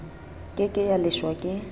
ke ke ya leshwa ke